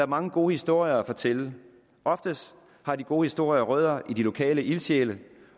mange gode historier at fortælle oftest har de gode historier rødder i de lokale ildsjæle